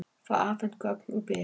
Fá afhent gögn úr Byr